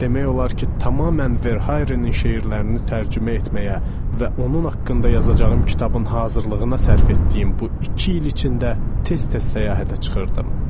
Demək olar ki, tamamilə Verharenin şeirlərini tərcümə etməyə və onun haqqında yazacağım kitabın hazırlığına sərf etdiyim bu iki il içində tez-tez səyahətə çıxırdım.